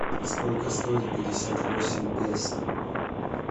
сколько стоит пятьдесят восемь песо